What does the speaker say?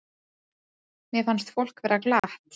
Mér fannst fólk vera glatt.